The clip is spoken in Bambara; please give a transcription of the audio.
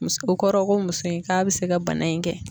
Muso o kɔrɔ ko muso in k'a bi se ka bana in kɛ.